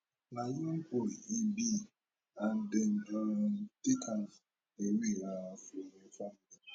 na young boy e be and dem um take am away um from im family